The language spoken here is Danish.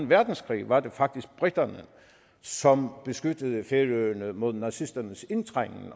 verdenskrig var det faktisk briterne som beskyttede færøerne mod nazisternes indtrængen